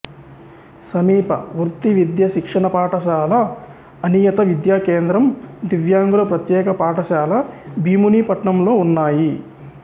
సమీప వృత్తి విద్యా శిక్షణ పాఠశాల అనియత విద్యా కేంద్రం దివ్యాంగుల ప్రత్యేక పాఠశాల భీమునిపట్నంలో ఉన్నాయి